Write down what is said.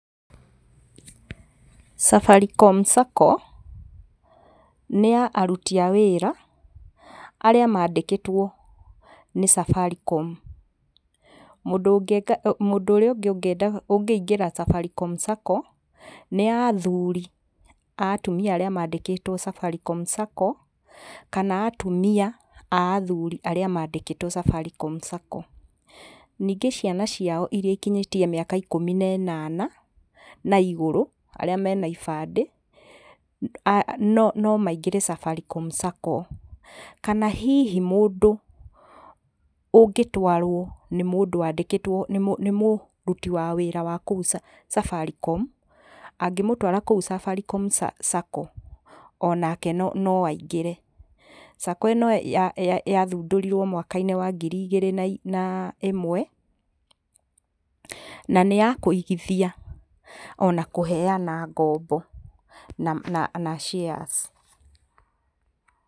Safaricom Sacco nĩ ya aruti a wĩra arĩa mandĩkĩtwo nĩ Safaricom. Mũndũ ũngĩka mũndũ ũrĩa ũngĩ ũngĩingĩra Safaricom Sacco nĩ athuri a atumia arĩa mandĩkĩtwo Safaricom Sacco kana atumia a athuri arĩa mandĩkĩtwo Safaricom Sacco. Ningĩ ciana ciao iria ikinyĩtie mĩaka ikũmi na ĩnana na igũrũ arĩa mena ibandĩ, no maingĩre Safaricom Sacco. Kana hihi mũndũ ũngĩtwarwo nĩ mũndũ wandĩkĩtwo nĩ mũruti wa wĩra wa kũu Safaricom, angĩmũtwara kũu Safaricom Sacco onake no aingĩre. Sacco ĩno yathundũrirwo mwaka-inĩ wa ngiri igĩrĩ na ĩmwe, na nĩ ya kũigithia ona kũheyana ngombo na na shares.